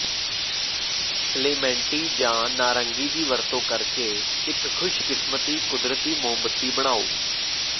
ਕਲੇਮੈਨਟੀ ਜਾਂ ਨਾਰੰਗੀ ਦੀ ਵਰਤੋਂ ਕਰਕੇ ਇਕ ਖੁਸ਼ਕਿਸਮਤੀ ਕੁਦਰਤੀ ਮੋਮਬੱਤੀ ਬਣਾਓ